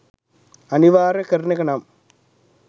අනිවාර්ය කරන එක නම්